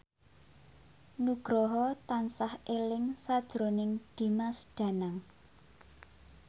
Nugroho tansah eling sakjroning Dimas Danang